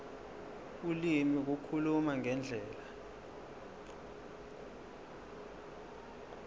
ulimi ukukhuluma ngendlela